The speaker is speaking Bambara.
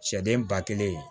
Sɛden ba kelen